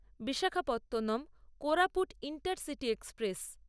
Visakhapatnam Koraput intercity express